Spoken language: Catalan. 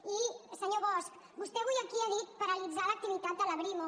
i senyor bosch vostè avui aquí ha dit paralitzar l’activitat de la brimo